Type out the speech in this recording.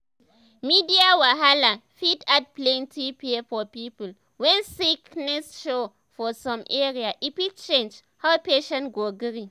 media wahala fit add plenty fear for people when sickness show for some area e fit change how patient go gree.